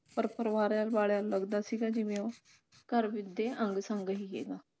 ਪਰ ਪਰਿਵਾਰ ਵਾਲਿਆਂ ਨੂੰ ਲੱਗਦਾ ਸੀਗਾ ਜਿਵੇਂ ਉਹ ਘਰ ਦੇ ਅੰਗ ਸੰਗ ਹੀ ਰਿਹਾ